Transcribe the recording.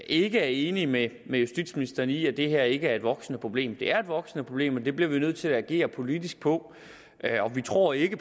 ikke er enige med justitsministeren i at det her ikke er et voksende problem det er et voksende problem og det bliver vi nødt til at agere politisk på vi tror ikke